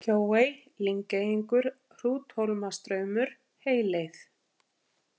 Kjóey, Lyngeyingur, Hrúthólmastraumur, Heyleið